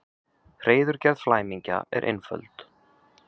Hreiðurgerð flæmingja er einföld.